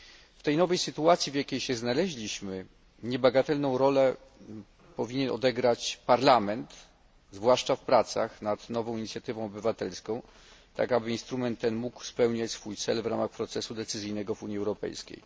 W tej nowej sytuacji, w jakiej się znaleźliśmy, niebagatelną rolę powinien odegrać Parlament, zwłaszcza w pracach nad nową inicjatywą obywatelską, tak, aby instrument ten mógł spełniać swój cel w ramach procesu decyzyjnego w Unii Europejskiej.